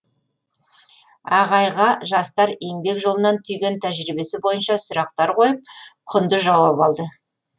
ағайға жастар еңбек жолынан түйген тәжірибесі бойынша сұрақтар қойып құнды жауаптар алды